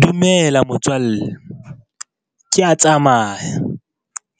Dumela motswalle. Kea tsamaya,